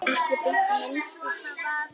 Ekki beint minn stíll.